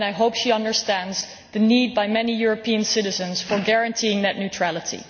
I hope she understands the needs of many European citizens as regards guaranteeing net neutrality.